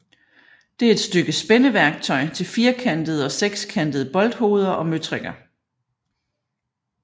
Det er et stykke spændeværktøj til firkantede og sekskantede bolthoveder og møtrikker